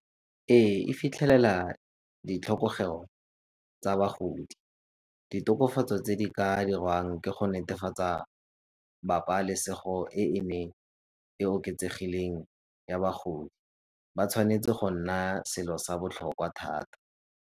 Ee, e fitlhelela ditlhokego tsa bagodi, ditokafatso tse di ka diriwang ke go netefatsa babalesego e e neng e oketsegileng ya bagodi. Ba tshwanetse go nna selo sa botlhokwa thata.